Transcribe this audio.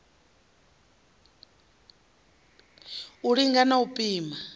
u linga na u pima